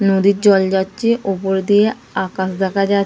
নদীর জল যাচ্ছে ওপর দিয়ে আকাশ দেখা যা--